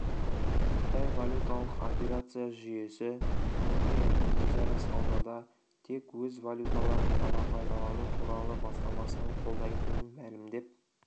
қытай валюталық операция жүйесі түркияның өзара саудада тек өз валюталарын ғана пайдалану туралы бастамасын қолдайтынын мәлімдеп